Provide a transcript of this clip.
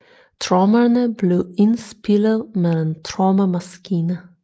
Trommerne blev indspillet med en trommemaskine